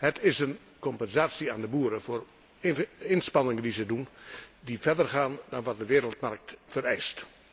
Het is een compensatie aan de boeren voor inspanningen die ze doen, die verder gaan dan wat de wereldmarkt vereist.